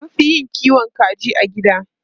An fi yin kiwon kaji a gida.